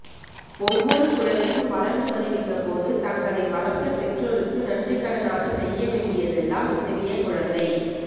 ஒவ்வொரு குழந்தையும் வளர்ந்து வருகின்றபோது தங்களை வளர்த்த பெற்றோருக்கு நன்றிக்கடனாகச் செய்ய வேண்டியதெல்லாம் இத்தகைய குழந்தை